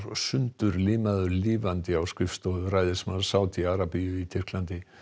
sundurlimaður lifandi á skrifstofu ræðismanns Sádi Arabíu í Tyrklandi